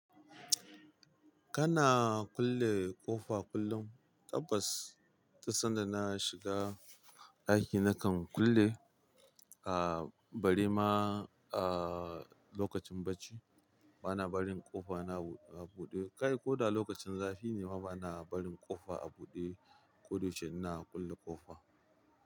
Kana kulle ƙofa kullum? Tabbas, tun sanda na shiga ɗaki nakan kulle, ah bare ma ah lokacin bacci bana barin ƙofa na a buɗe. Kai ko da lokacin zafi ne ma bana barin ƙofa a buɗe ko da yaushe ina kulle ƙofa.